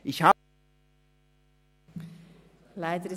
Leider ist die Redezeit um.